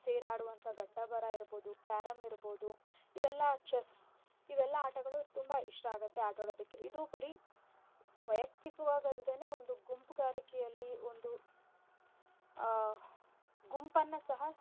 ಸೇರಿ ಆಡುವಂಥ ಘಟ್ಟಬರಾ ಇರ್ಬೋದು carrom ಇರ್ಬೋದು ಇವೆಲ್ಲಾ chess ಇವೆಲ್ಲಾ ಆಟಗಳು ತುಂಬಾ ಇಷ್ಟ ಆಗತ್ತೆ ಆಟಾಡೊದಕ್ಕೆ. ಇದು ಬರೀ ವೈಯಕ್ತಿಕವಾಗಿ ಅಲ್ದೆನೇ ಒಂದು ಗುಂಪುಗಾರಿಕೆಯಲ್ಲಿ ಒಂದು ಆ ಗುಂಪನ್ನ ಸಹ.